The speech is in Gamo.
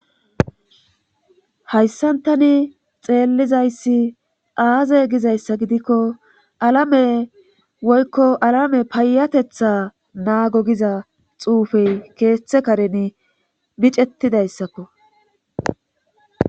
Hayssantani xeellizayssi aaze gizayssa gidikko alame woykko alame payatetha naago giza xuufey keeththe kareni micettidayssakko.